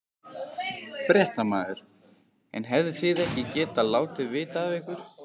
Fréttamaður: En hefðuð þið ekki getað látið vita af ykkur?